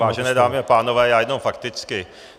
Vážené dámy a pánové, já jenom fakticky.